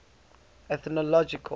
ethnological